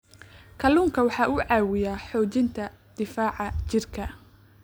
Kalluunku waxa uu caawiyaa xoojinta difaaca jidhka.